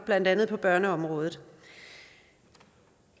blandt andet børneområdet